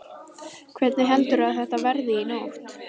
Hvernig heldurðu að þetta verði í nótt?